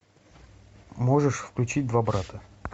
можешь включить два брата